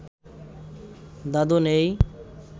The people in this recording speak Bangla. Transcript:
দাদু নেই